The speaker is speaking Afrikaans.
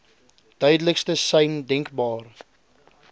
duidelikste sein denkbaar